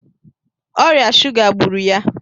Ọrịa shuga gburu ya